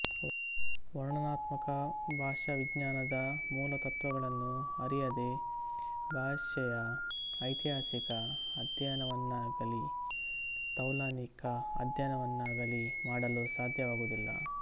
ವರ್ಣನಾತ್ಮಕ ಭಾಷಾವಿಜ್ಞಾನದ ಮೂಲತತ್ತ್ವಗಳನ್ನು ಅರಿಯದೆ ಭಾಷೆಯ ಐತಿಹಾಸಿಕ ಅಧ್ಯಯನವನ್ನಾಗಲೀ ತೌಲನಿಕ ಅಧ್ಯಯನವನ್ನಾಗಲೀ ಮಾಡಲು ಸಾಧ್ಯವಾಗುವುದಿಲ್ಲ